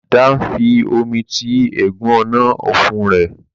Dan fí omí tí egún Ọ̀nà-ọ̀fun rẹ.